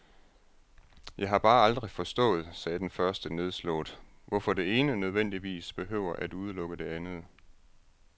Jeg har bare aldrig forstået, sagde den første nedslået, hvorfor det ene nødvendigvis behøver at udelukke det andet.